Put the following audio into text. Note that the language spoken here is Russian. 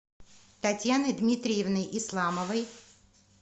татьяной дмитриевной исламовой